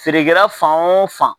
Feerekɛla fan o fan